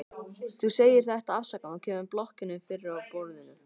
Þú segir þetta afsakandi og kemur blokkinni fyrir á borðinu.